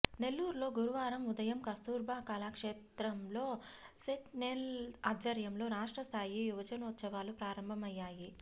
నెల్లూరులో గురువారం ఉదయం కస్తూర్బా కళాక్షేత్రంలో సెట్నెల్ ఆధ్వర్యంలో రాష్ట్రస్థాయి యువజనోత్సవాలు ప్రారంభమయ్యాయి